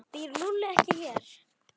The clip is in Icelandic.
Býr Lúlli ekki hér?